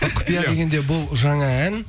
құпия дегенде бұл жаңа ән